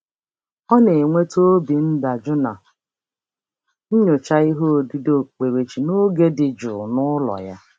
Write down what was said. Ọ na-enweta obi ndajụ na nyocha ihe odide okpukperechi n'oge dị jụụ n'ụlọ ya.